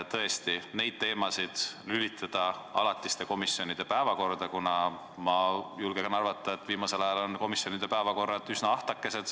Tõesti, neid teemasid saab lülitada alatiste komisjonide päevakorda, kuna ma julgen arvata, et viimasel ajal on komisjonide päevakorrad olnud üsna ahtakesed.